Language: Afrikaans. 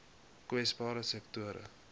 kwesbare sektore